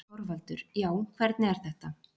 ÞORVALDUR: Já, hvernig er þetta.